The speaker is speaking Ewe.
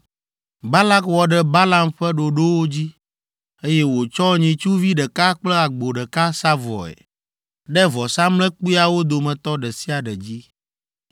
Balak wɔ ɖe Balaam ƒe ɖoɖowo dzi, eye wòtsɔ nyitsuvi ɖeka kple agbo ɖeka sa vɔe ɖe vɔsamlekpuiawo dometɔ ɖe sia ɖe dzi.